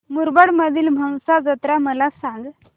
मुरबाड मधील म्हसा जत्रा मला सांग